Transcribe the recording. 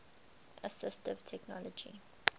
assistive technology